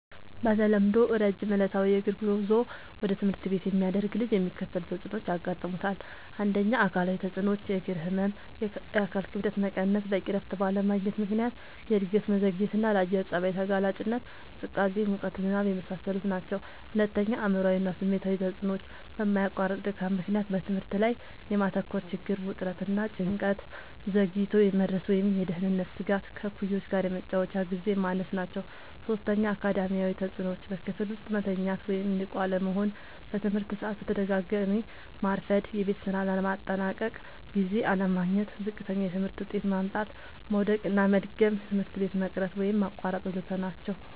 በተለምዶ ረጅም ዕለታዊ የእግር ጉዞ ወደ ትምህርት ቤት የሚያደርግ ልጅ የሚከተሉት ተጽዕኖዎች ያጋጥሙታል። ፩. አካላዊ ተጽዕኖዎች፦ · የእግር ህመም፣ የአካል ክብደት መቀነስ፣ በቂ እረፍት ባለማግኘት ምክንያት የእድገት መዘግየትና፣ ለአየር ጸባይ ተጋላጭነት (ቅዝቃዜ፣ ሙቀት፣ ዝናብ) የመሳሰሉት ናቸዉ። ፪. አእምሯዊ እና ስሜታዊ ተጽዕኖዎች፦ በማያቋርጥ ድካም ምክንያት በትምህርት ላይ የማተኮር ችግር፣ ውጥረት እና ጭንቀት፣ ዘግይቶ የመድረስ ወይም የደህንነት ስጋት፣ ከእኩዮች ጋር የመጫወቻ ግዜ ማነስ ናቸዉ። ፫. አካዳሚያዊ ተጽዕኖዎች፦ · በክፍል ውስጥ መተኛት ወይም ንቁ አለመሆን፣ በትምህርት ሰዓት በተደጋጋሚ ማርፈድ፣ የቤት ስራ ለማጠናቀቅ ጊዜ አለማግኘት፣ ዝቅተኛ የትምህርት ውጤት ማምጣት፣ መዉደቅና መድገም፣ ትምህርት ቤት መቅረት ወይም ማቋረጥ ወ.ዘ.ተ ናቸዉ።